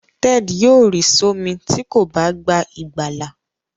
Ted yóò ri somi tí kò bá gbà ìgbàlà.